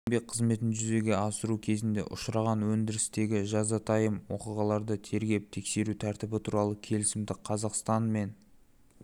еңбек қызметін жүзеге асыру кезінде ұшыраған өндірістегі жазатайым оқиғаларды тергеп-тексеру тәртібі туралы келісімді қазақстан мен